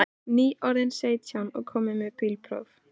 Nýorðinn sautján og kominn með bílpróf.